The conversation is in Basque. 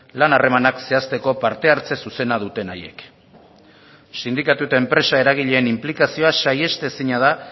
lan harremanak zehazteko parte hartze zuzena duten haiek sindikatu eta enpresa eragileen inplikazioa saihestezina da